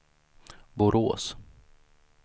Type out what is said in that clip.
Borås